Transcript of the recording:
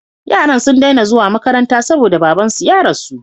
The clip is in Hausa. Yaran sun dai na zuwa makaranta saboda baban su ya rasu